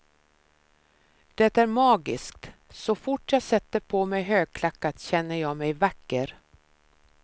Det är magiskt, så fort jag sätter på mig högklackat känner jag mig vacker.